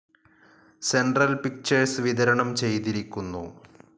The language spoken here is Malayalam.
സെൻട്രൽ പിക്ചർസ്‌ വിതരണം ചെയ്തിരിക്കുന്നു.